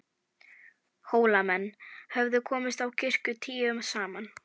Hólamenn höfðu komist á kirkju tíu saman.